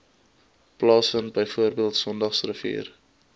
plaasvind bv sondagsrivier